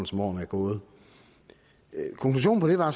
som årene er gået konklusionen på det var